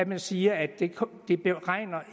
man siger at det